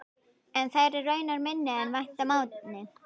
Eru þær raunar minni en vænta mátti.